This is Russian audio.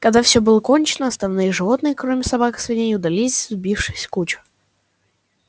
когда все было кончено остальные животные кроме собак и свиней удалились сбившись в кучу